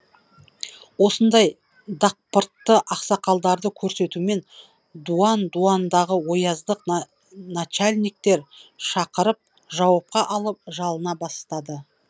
осындай дақпыртты ақсақалдарды көрсетумен дуан дуандағы ояздық начальниктер шақырып жауапқа алып жалына бастады